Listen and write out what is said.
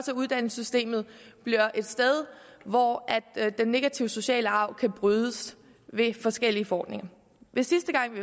at uddannelsessystemet bliver et sted hvor den negative sociale arv kan brydes ved forskellige forordninger sidste gang vi